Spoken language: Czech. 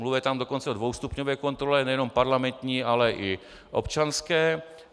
Mluví tam dokonce o dvoustupňové kontrole, nejenom parlamentní, ale i občanské.